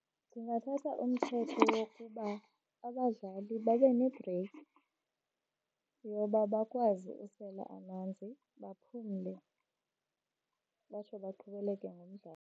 Ndingathatha umthetho wokuba abadlali babe nebhreyiki yoba bakwazi usela amanzi, baphumle batsho baqhubeleke nomdlalo.